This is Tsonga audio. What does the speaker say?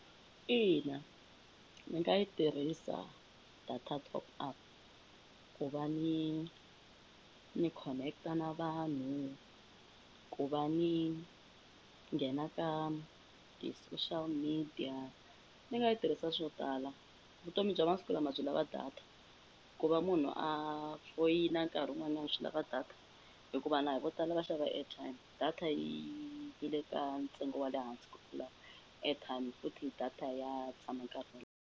Ina, ni nga yi tirhisa data top up ku va ni ni connect-a na vanhu, ku va ni nghena ka ti-social media ni nga yi tirhisa swo tala. Vutomi bya masiku lama byi lava data ku va munhu a foyina nkarhi wun'wanyani swi lava data hi ku vanhu a hi vo tala va xava airtime. Data yi yi le ka ntsengo wa le hansi ku tlula airtime futhi hi data ya tshama nkarhi wo leha.